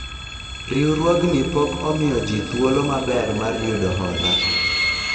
riwruogni pok omiyo jii thuolo maber mar yudo hola